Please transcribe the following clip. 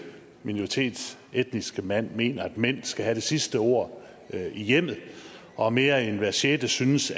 minoritetsetniske mand mener at mænd skal have det sidste ord i hjemmet og at mere end hver sjette synes